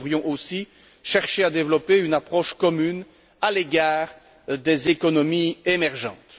Nous devrions aussi chercher à développer une approche commune à l'égard des économies émergentes.